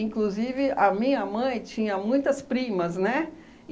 Inclusive, a minha mãe tinha muitas primas, né?